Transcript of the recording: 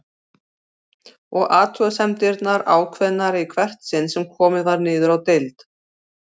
Og athugasemdirnar ákveðnari í hvert sinn sem komið var niður á deild.